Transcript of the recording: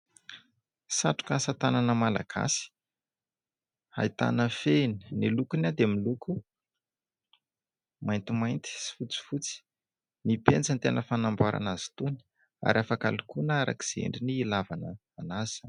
Satroka asa tanana malagasy. Ahitana fehiny ; ny lokony dia miloko maintimainty sy fotsifotsy. Ny penjy ny tena fanamboarana azy itony ary afaka lokoina araka izay endriny hilavana an'azy.